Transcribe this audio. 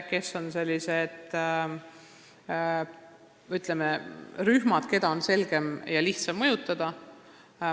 Oluline on teada, millised on sellised rühmad, mida on lihtsam mõjutada.